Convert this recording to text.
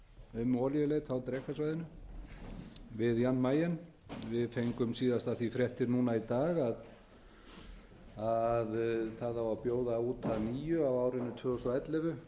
um olíuleit á drekasvæðinu við jan mayen við fengum síðast af því fréttir núna í dag að það á að bjóða út að nýju á árinu tvö þúsund og ellefu